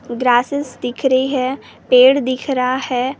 grass दिख रही है पेड़ दिख रहा है अअ--